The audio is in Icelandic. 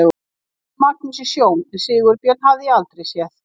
Ég þekkti Magnús í sjón en Sigurbjörn hafði ég aldrei séð.